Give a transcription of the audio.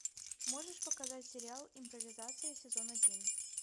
можешь показать сериал импровизация сезон один